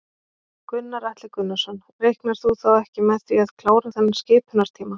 Gunnar Atli Gunnarsson: Reiknar þú þá ekki með því að klára þennan skipunartíma?